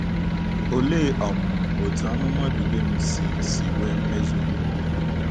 Olee um otú amụma Dubem si si nwee mmezu mbụ?